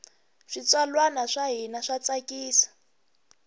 switsalwana swa hina swa tsakisa